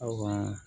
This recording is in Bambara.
Aw ka